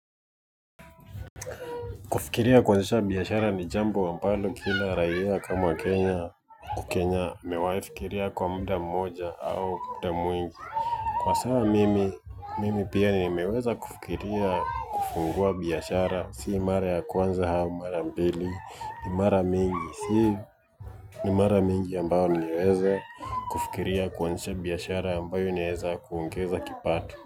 Kufikiria kuanzisha biashara ni jambo ambalo kila raia kama Kenya. Huku Kenya nimewahi fikiria kwa muda mmoja au muda mwingi. Kwa sawa mimi, mimi pia nimeweza kufikiria kufungua biashara, si mara ya kwanza ama mara mbili, ni mara mingi, si ni mara mingi ambao niweza kufikiria kuanzisha biashara ambayo inaweza kuongeza kipato.